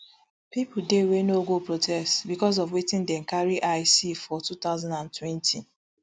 pipo dey wey no go protests bicos of wetin dem carry eye see for two thousand and twenty